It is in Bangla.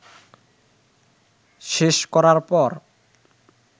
শেষ করার পর